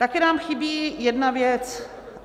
Také nám chybí jedna věc.